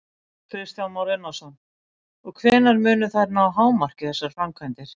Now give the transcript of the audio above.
Kristján Már Unnarsson: Og hvenær munu þær ná hámarki, þessar framkvæmdir?